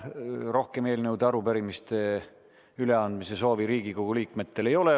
Rohkem eelnõude ja arupärimiste üleandmise soovi Riigikogu liikmetel ei ole.